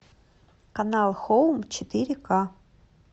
канал хоум четыре ка